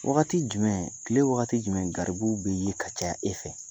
Wagati jumɛn kile wagati jumɛn garibuw bi ye ka caya e fɛ?